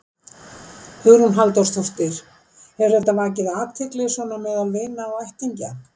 Hugrún Halldórsdóttir: Hefur þetta vakið athygli svona meðal vina og ættingja?